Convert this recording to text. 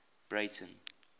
breyten